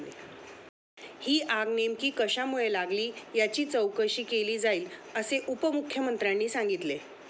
ही आग नेमकी कशामुळे लागली याची चौकशी केली जाईल, असे उपमुख्यमंत्र्यांनी सांगितले.